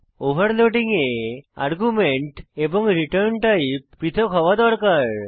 overloading এ argument এবং return type পৃথক হওয়া আবশ্যক